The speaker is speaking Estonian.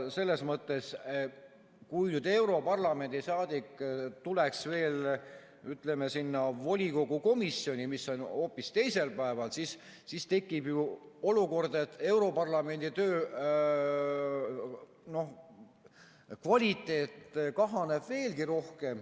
Selles mõttes, kui nüüd europarlamendi saadik tuleks veel sinna volikogu komisjoni, mis on hoopis teisel päeval, siis tekiks ju olukord, et europarlamendi töö kvaliteet kahaneb veelgi rohkem.